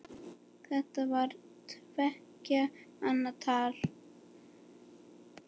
Þetta var tveggja manna tal.